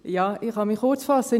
Ja, ich kann mich kurzfassen: